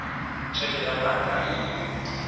heke ya banka e e